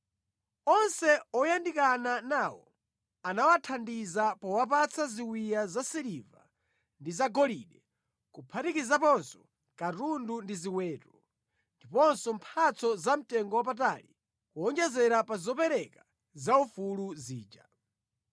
Onse oyandikana nawo anawathandiza powapatsa ziwiya za siliva ndi zagolide, kuphatikizaponso katundu ndi ziweto, ndiponso mphatso zamtengo wapatali, kuwonjezera pa zopereka zaufulu zija.